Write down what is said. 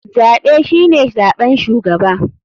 Zaɓe shine zaɓen shugaba.